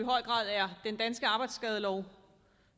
den danske arbejdsskadelov